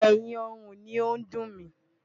Ẹ̀yìn ọrùn ni ó ń dùn mí.